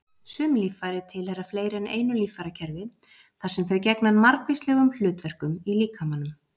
Sum líffæri tilheyra fleiri en einu líffærakerfi þar sem þau gegna margvíslegum hlutverkum í líkamanum.